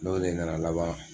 N'o de nana laban